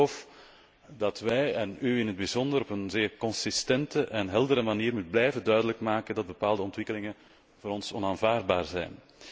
Ik geloof dat wij, en in het bijzonder, op een zeer consistente en heldere manier duidelijk moeten blijven maken dat bepaalde ontwikkelingen voor ons onaanvaardbaar zijn.